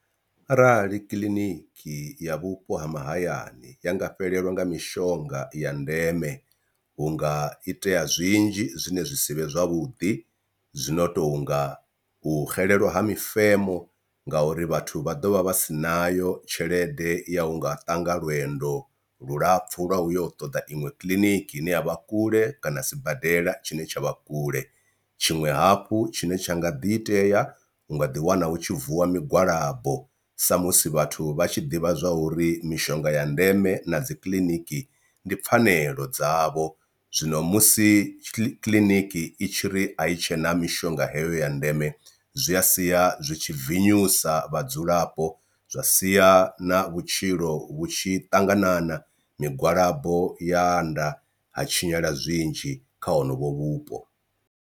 Arali kiḽiniki ya vhupo ha mahayani ya nga fhelelwa nga mishonga ya ndeme hu nga itea zwinzhi zwine zwi sivhe zwavhuḓi zwino tonga u xelelwa ha mifemo ngauri vhathu vha ḓovha vha si nayo tshelede ya u nga ṱanga lwendo lulapfhu lwa uyo u ṱoḓa iṅwe kiḽiniki ine ya vha kule kana sibadela tshine tsha vha kule. Tshiṅwe hafhu tshine tsha nga ḓi itea u nga ḓi wana hu tshi vuwa migwalabo sa musi vhathu vha tshi ḓivha zwa uri mishonga ya ndeme na dzi kiḽiniki ndi pfhanelo dzavho, zwino musi kiḽiniki i tshi ri i tshena mishonga heyo ya ndeme zwi sia zwi tshi vinyusa vhadzulapo zwa sia na vhutshilo vhu tshi ṱanganana migwalabo ya anda ha tshinyala zwinzhi kha honovho vhupo.